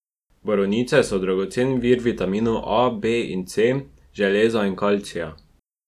Borovnice so dragocen vir vitaminov A, B in C, železa in kalcija.